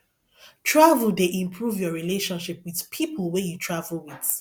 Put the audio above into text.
travel dey improve your relationship with people wey you travel with